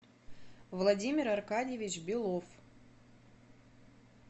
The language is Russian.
владимир аркадьевич белов